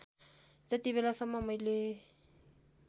जतिबेला सम्म मैले